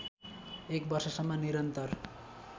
एक वर्षसम्म निरन्तर